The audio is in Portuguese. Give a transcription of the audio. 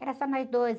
Era só nós dois.